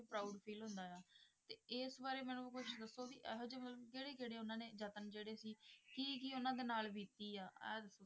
proud feel ਹੁੰਦਾ ਆ ਤੇ ਇਸ ਬਾਰੇ ਮੈਨੂੰ ਕੁਛ ਦੱਸੋ ਵੀ ਇਹੋ ਜਿਹੇ ਮਤਲਬ ਕਿਹੜੇ ਕਿਹੜੇ ਉਹਨਾਂ ਨੇ ਯਤਨ ਜਿਹੜੇ ਸੀ ਕੀ ਕੀ ਉਹਨਾਂ ਦੇ ਨਾਲ ਬੀਤੀ ਆ,